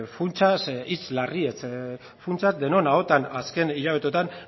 funtsaz hitz larriez funtsa denon ahotan azken hilabeteotan